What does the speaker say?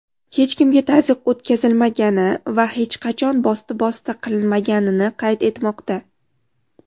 hech kimga taz’yiq o‘tkazilmagani va hech qachon bosti-bosti qilinmaganini qayd etmoqda.